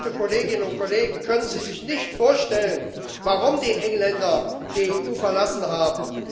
Werte Kolleginnen und Kollegen, können Sie sich nicht vorstellen, warum die Engländer die EU verlassen haben?